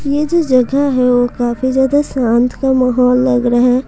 जो जगह है वह काफी ज्यादा शांत का माहौल लग रहा है।